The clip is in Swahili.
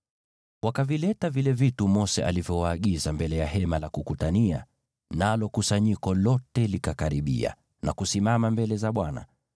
Wakavileta vile vitu Mose alivyowaagiza mbele ya Hema la Kukutania, nalo kusanyiko lote likakaribia na kusimama mbele za Bwana .